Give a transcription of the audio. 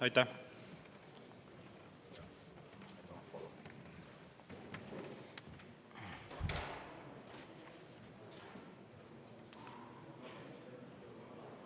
Aitäh!